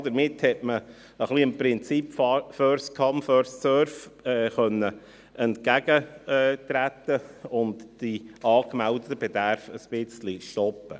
Damit konnte man dem Prinzip «first come, first served» ein wenig entgegentreten und den angemeldeten Bedarf ein wenig stoppen.